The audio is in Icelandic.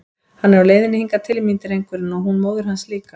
Hann er á leiðinni hingað til mín, drengurinn, og hún móðir hans líka!